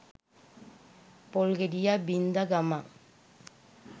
පොල් ගෙඩියක් බින් ද ගමන්